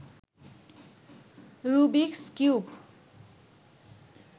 Rubik's cube